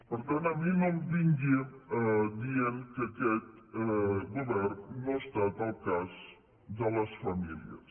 per tant a mi no em vingui dient que aquest govern no ha estat al cas de les famílies